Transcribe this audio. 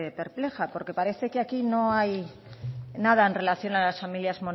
perpleja porque parece que aquí no hay nada en relación a las familias